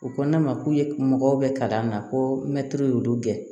U ko ne ma k'u ye mɔgɔw bɛ kalan na ko mɛtiri y'olu gɛn